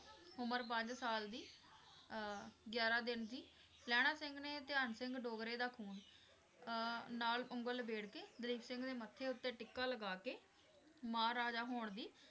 ਉਮਰ ਪੰਜ ਸਾਲ ਦੀ ਅਹ ਗਿਆਰਾਂ ਦਿਨ ਦੀ, ਲਹਿਣਾ ਸਿੰਘ ਨੇ ਧਿਆਨ ਸਿੰਘ ਡੋਗਰੇ ਦਾ ਖ਼ੂਨ ਅਹ ਨਾਲ ਉਂਗਲ ਲਬੇੜ ਕੇ ਦਲੀਪ ਸਿੰਘ ਦੇ ਮੱਥੇ ਉਤੇ ਟਿੱਕਾ ਲਗਾ ਕੇ ਮਹਾਰਾਜਾ ਹੋਣ ਦੀ